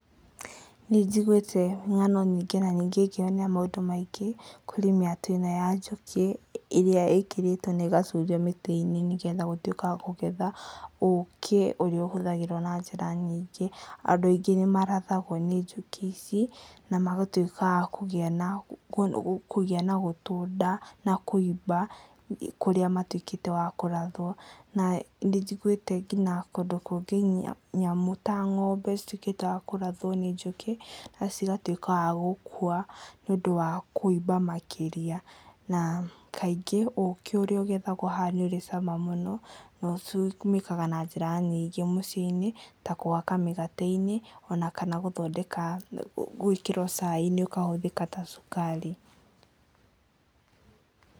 Nĩ njiguĩte ng'ano nyingĩ na ningĩ ngeyonera maũndũ maingĩ kũrĩ mĩatũ ĩno ya njũkĩ, ĩrĩa ĩkĩrĩtwo na ĩgacurio mĩtĩ-inĩ, nĩgetha gũtuĩka wa kũgetha ũkĩ ũrĩa ũhũthagĩrwo na njĩra nyingĩ, andũ aingĩ nĩ marathagwo nĩ njũkĩ ici na magatuĩka a kũgĩa na gũtũnda na kũimba kũrĩa matuĩkĩte a kũrathwo na nĩ njiguĩte nginya kũndũ kũngĩ nyamũ ta ng'ombe cĩtuĩkĩte wa kũrathwo nĩ njũkĩ na cigatuĩka wa gũkua, nĩ ũndũ wa kũimba makĩria. Na kaingĩ ũkĩ ũrĩa ũgethagwo haha nĩ ũrĩ cama na ũtũmĩkaga na njĩra nyingĩ mũciĩ-inĩ ta kũhaka migate-inĩ ona kana gũĩkĩra cai-inĩ ũkahũthĩka ta cukari.